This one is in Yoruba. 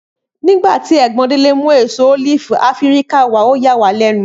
Nígbàtí ègbón Délé mú èso ólífì áfíríkà wàá ọ yà wàá lénu